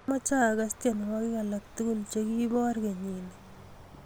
Amache agaas tyenwogik alak tugul chegiboor kenyini